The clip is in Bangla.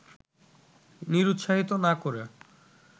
নিরুৎসাহিত না করে